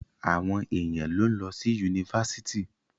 Àwọn èèyàn ló ń lọ sí Yunifásitì.